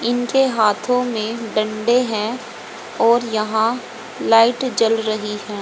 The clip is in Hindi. ईनके हाथो मे डंडे हैं और यहां लाइट जल रही हैं।